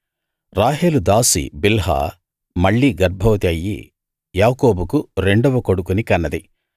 రాహేలు దాసి బిల్హా మళ్ళీ గర్భవతి అయ్యి యాకోబుకు రెండవ కొడుకుని కన్నది